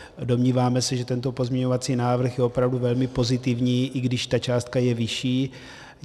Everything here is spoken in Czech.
Domníváme se, že tento pozměňovací návrh je opravdu velmi pozitivní, i když ta částka je vyšší.